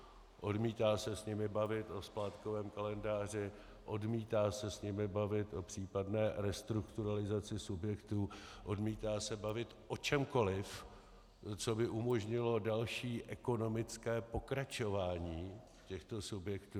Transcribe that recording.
Odmítá se s nimi bavit o splátkovém kalendáři, odmítá se s nimi bavit o případné restrukturalizaci subjektů, odmítá se bavit o čemkoliv, co by umožnilo další ekonomické pokračování těchto subjektů.